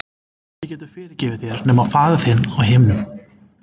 Enginn getur fyrirgefið þér nema faðir þinn á himnum.